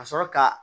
Ka sɔrɔ ka